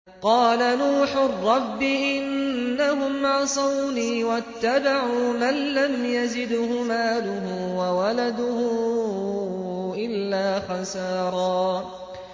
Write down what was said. قَالَ نُوحٌ رَّبِّ إِنَّهُمْ عَصَوْنِي وَاتَّبَعُوا مَن لَّمْ يَزِدْهُ مَالُهُ وَوَلَدُهُ إِلَّا خَسَارًا